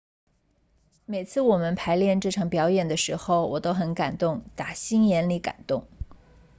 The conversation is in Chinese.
每次我们排练这场表演的时候我都很感动打心眼里感动